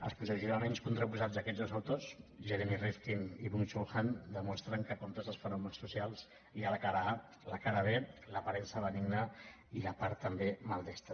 els posicionaments contraposats d’aquests dos autors jeremy rifkin i byung·chul han demostren que com tots els fenòmens socials hi ha la cara a la cara b l’aparença benigna i la part també maldestra